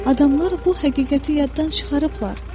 Adamlar bu həqiqəti yaddan çıxarıblar.